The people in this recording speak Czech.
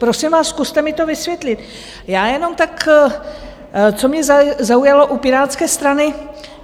Prosím vás, zkuste mi to vysvětlit, já jenom tak, co mě zaujalo u Pirátské strany.